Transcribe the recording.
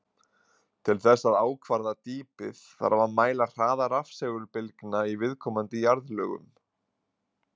Til þess að ákvarða dýpið þarf að mæla hraða rafsegulbylgna í viðkomandi jarðlögum.